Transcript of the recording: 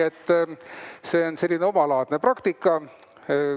See on selline omalaadne praktika.